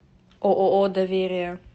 ооо доверие